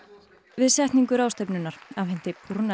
við setningu ráðstefnunnar afhenti